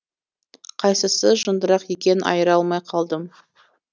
қайсысы жындырақ екенін айыра алмай қалдым